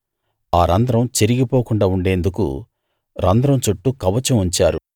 ఆ రంధ్రం చిరిగి పోకుండా ఉండేందుకు రంధ్రం చుట్టూ కవచం ఉంచారు